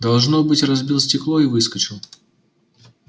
должно быть разбил стекло и выскочил